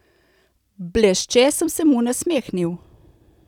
Blešče sem se mu nasmehnil.